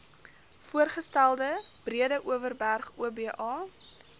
voorgestelde breedeoverberg oba